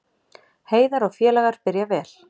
Heiðar og félagar byrja vel